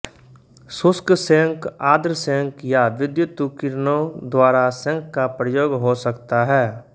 शुष्क सेंक आर्द्र सेंक या विद्यतुकिरणों द्वारा सेंक का प्रयोग हो सकता है